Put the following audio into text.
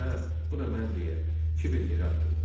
Hə, bu da mən deyə kiber yerə atıldı.